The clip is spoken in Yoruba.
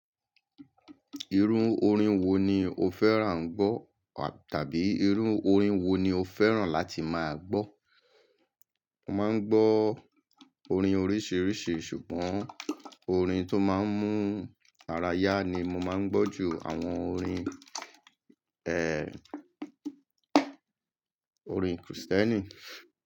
Irú orin wo ni o fẹ́ràn gbọ́ tàbí irun orin wo ni o fẹ́ràn láti máa gbọ́? Mo máa ń gbọ́ orin oríṣiríṣi ṣùgbọ́n orin tó máa ń mú ara yá ni mo máa ń gbọ́ ju àwọn orin, eeh, orin Krìstẹ́nì.